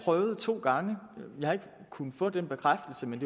to gange vi har ikke kunnet få den bekræftelse men